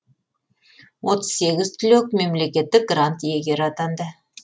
отыз сегіз түлек мемлекеттік грант иегері атанды